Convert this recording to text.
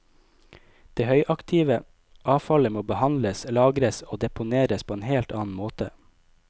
Det høyaktive avfallet må behandles, lagres og deponeres på en helt annen måte.